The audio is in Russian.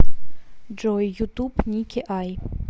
джой ютуб ники ай